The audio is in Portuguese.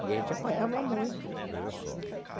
E a gente apanhava muito.